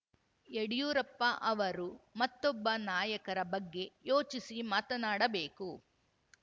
ಯಡಿಯೂರಪ್ಪ ಅವರು ಮತ್ತೊಬ್ಬ ನಾಯಕರ ಬಗ್ಗೆ ಯೋಚಿಸಿ ಮಾತನಾಡಬೇಕು